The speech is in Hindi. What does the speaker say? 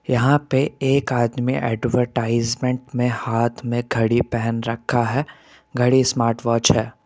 यहां पे एक आदमी एडवर्टाइजमेंट में हाथ में घड़ी पहन रखा है घड़ी स्मार्ट वॉच है।